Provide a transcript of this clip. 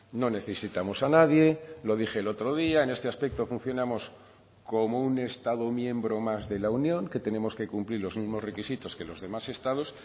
no necesitamos a nadie lo dije el otro día en este aspecto funcionamos como un estado miembro más de la unión que tenemos que cumplir los mismos requisitos que los demás estados